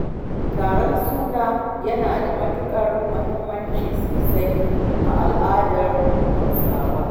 Taron suna yana da matuƙar muhimmanci sosai a al'adar Hausawa